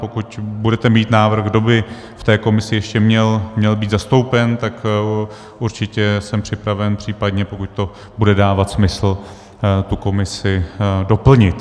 Pokud budete mít návrh, kdo by v té komisi ještě měl být zastoupen, tak určitě jsem připraven případně, pokud to bude dávat smysl, tu komisi doplnit.